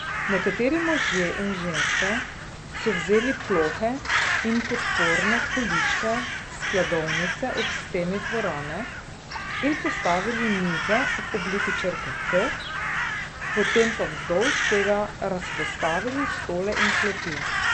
Nekateri možje in ženske so vzeli plohe in podporne količke s skladovnice ob steni dvorane in postavili mize v obliki črke T, potem pa vzdolž tega razpostavili stole in klopi.